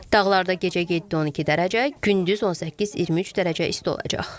Dağlarda gecə 7-12 dərəcə, gündüz 18-23 dərəcə isti olacaq.